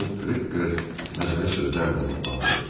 Onu qırıq-qırıq məzəli sözlərlə ruhlandırırdı.